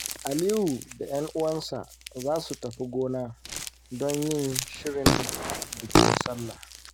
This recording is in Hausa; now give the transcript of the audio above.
Aliyu da ‘yan uwansa za su tafi gona don yin shirin bikin Sallah.